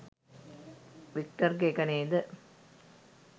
වික්ටර්ගෙ එක නේද?